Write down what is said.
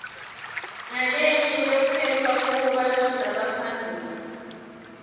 nalemnye lekukhetfwa kuyo baculi lebaphambili